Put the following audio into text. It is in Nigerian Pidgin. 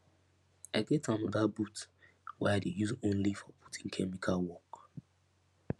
i get anoda boot wey i dey use only for putting chemical work